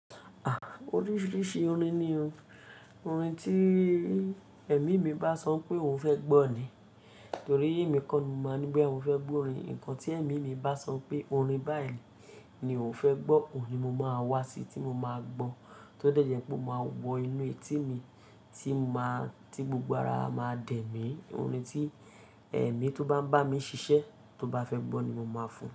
A! Oríṣiríṣi orin ni o. Orin tí Ẹ̀mí mi bá sọ pé òun fẹ́ gbọ́ ni, torí èmi kọ́ ni mo máa ní bóyá mo fẹ́ gbọ́ orin. Ǹkan tí Ẹ̀mí mi bá sọ pé orin báyìí ni òun fẹ́ gbọ́, òun ni mo máa wá sí tí mo máa gbọ́. Tó dẹ̀jẹ́ pé mo máa wọ inú etí mi tí mo máa, tí gbogbo ara máa dẹ̀ mí. Orin tí Ẹ̀mí tó bá ń bá mi ṣiṣẹ́ tó bá fẹ́ gbọ́ ni mo máa fún.